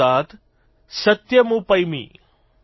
इदमहमनृतात सत्यमुपैमि ||